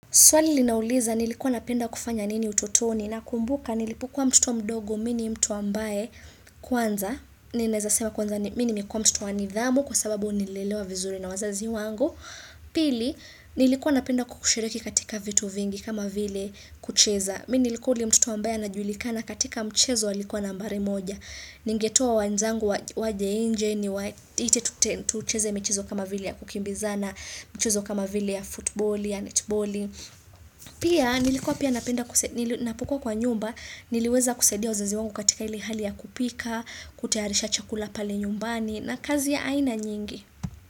Swali linauliza nilikuwa napenda kufanya nini utotoni na kumbuka nilipo kuwa mtoto mdogo mimi ni mtu ambae kwanza. Ninaweza sema kwanza mimi nime kuwa mtoto wa nidhamu kwa sababu nililelewa vizuri na wazazi wangu. Pili, nilikuwa napenda kukushiriki katika vitu vingi kama vile kucheza. Mimi nilikuwa yule mtoto ambae anajulikana katika mchezo alikuwa nambari moja. Ningetoa wenzangu waje nje niwaite tucheze michezo kama vile ya kukimbiza na mchezo kama vile ya football ya netball. Pia, nilikuwa pia napukua kwa nyumba, niliweza kusaidia wazazi wangu katika ile hali ya kupika, kutayarisha chakula pale nyumbani na kazi ya aina nyingi.